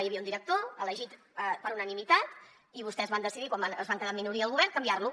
hi havia un director elegit per unanimitat i vostès van decidir quan es van quedar en minoria al govern canviar lo